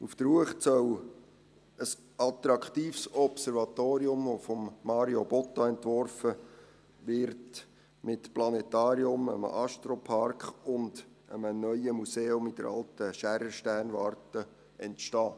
Auf der Uecht soll ein attraktives Observatorium, das von Mario Botta entworfen wird, mit Planetarium, einem Astropark und einem neuen Museum in der «alten» Schaerer-Sternwarte entstehen.